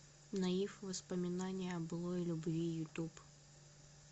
наив воспоминания о былой любви ютуб